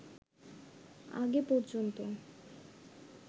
আগে পর্যন্ত